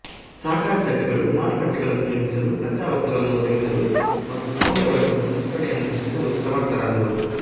ಸಹಕಾರ ಸಂಘಗಳು ಮಾರುಕಟ್ಟೆಗಳನ್ನು ನಿರ್ಮಿಸಲು ಕಚ್ಚಾ ವಸ್ತುಗಳನ್ನು ಒದಗಿಸಲು ಮತ್ತು ಮೌಲ್ಯ ವರ್ಧಿತ ಸಂಸ್ಕರಣೆಯನ್ನು ಸೃಷ್ಟಿಸಲು ಸಮರ್ಥರಾದರು